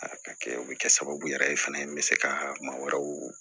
A ka kɛ o bɛ kɛ sababu yɛrɛ ye fana n bɛ se ka maa wɛrɛw